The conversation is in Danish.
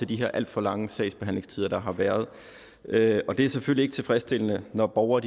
de her alt for lange sagsbehandlingstider der har været det er selvfølgelig ikke tilfredsstillende når borgere